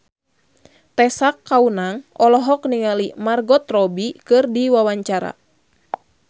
Tessa Kaunang olohok ningali Margot Robbie keur diwawancara